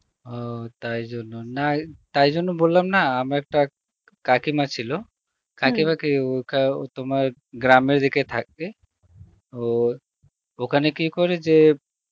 ও তাই জন্য না তাই জন্য বললাম না আমার একটা কাকিমা ছিল ও কা~ ও তোমার গ্রামে রেখে থাকে ও ওখানে কি করে যে